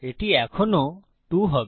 এটি এখনও 2 হবে